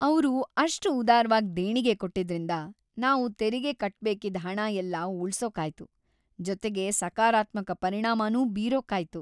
ಅವ್ರು ಅಷ್ಟ್‌ ಉದಾರವಾಗ್ ದೇಣಿಗೆ ಕೊಟ್ಟಿದ್ರಿಂದ, ನಾವು ತೆರಿಗೆ ಕಟ್ಬೇಕಿದ್‌ ಹಣ ಎಲ್ಲ‌ ಉಳ್ಸೋಕಾಯ್ತು, ಜೊತೆಗೆ ಸಕಾರಾತ್ಮಕ ಪರಿಣಾಮನೂ ಬೀರೋಕಾಯ್ತು.